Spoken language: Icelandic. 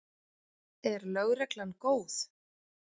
Er lögreglan góð?